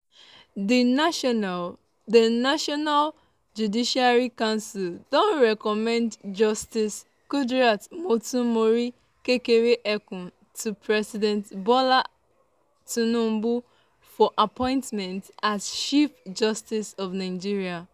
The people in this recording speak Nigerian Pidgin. di national di national judicial council don recommend justice kudirat motonmori kekere-ekun to president bola tinubu for appointment as chief justice of nigeria.